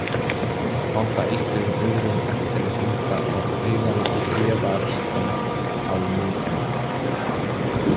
Láta einhverjum öðrum eftir að henda á haugana og gefa restina á nytjamarkað.